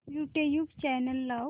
YouTube channel लाव